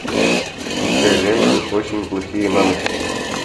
включай ленту очень плохие мамочки